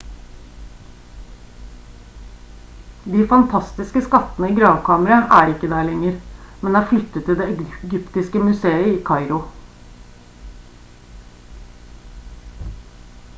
de fantastiske skattene i gravkammeret er der ikke lenger men er flyttet til det egyptiske museet i kairo